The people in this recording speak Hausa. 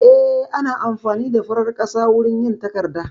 Eh, ana amfani da farar ƙasa wurin yin takarda